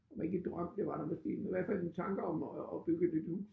Var ikke drøm det var der måske men i hvert fald tanker om at at bygge et nyt hus